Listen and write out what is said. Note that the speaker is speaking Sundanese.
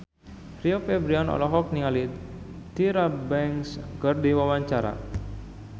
Rio Febrian olohok ningali Tyra Banks keur diwawancara